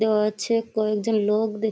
দেওয়া আছে। কয়েকজন লোক দেখ --